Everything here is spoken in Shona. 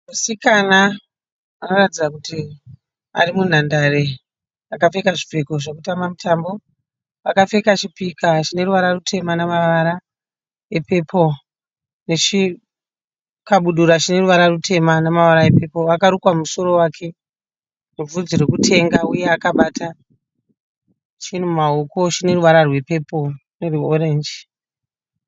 Musikana anoratidza kuti ari munhandare. Akapfeka zvipfeko zvekutamba mutambo. Akapfeka chipika chine ruvara rutema nemavara epepuro nechikabudura chine ruvara rutema nemavara epepuro. Akarukwa musoro wake nebvudzi rekutenga uye akabata chinhu mumaoko ake chineruvara rwepepuro nerwe(orange).